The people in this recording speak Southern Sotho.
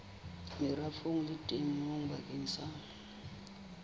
merafong le temong bakeng sa